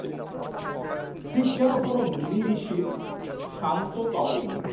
ঠিক যেন কোন মনি ঋষির শান্ত তপবন